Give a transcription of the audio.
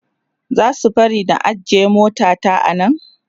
zasu barni na ajye mota ta a Nan?